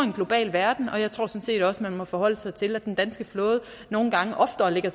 en global verden og jeg tror sådan set også man må forholde sig til at den danske flåde nogle gange oftere ligger